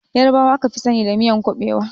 Ƴarbawa aka fi sani da miyan ƙuɓewa.